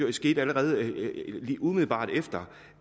det skete allerede umiddelbart efter